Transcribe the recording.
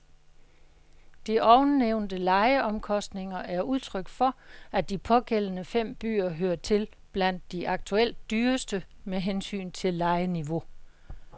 De ovennævnte lejeomkostninger er udtryk for, at de pågældende fem byer hører til blandt de aktuelt dyreste med hensyn til lejeniveau.